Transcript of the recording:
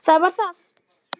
Það var það.